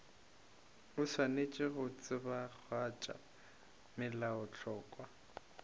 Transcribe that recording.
o swanetše go tsebagatša melaotlhakwa